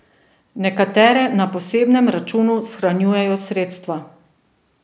Nekatere na posebnem računu shranjujejo sredstva.